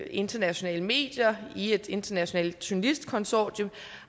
internationale medier i et internationalt journalistkonsortium